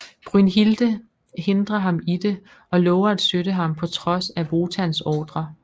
Brünnhilde hindrer ham i det og lover at støtte ham på trods af Wotans ordrer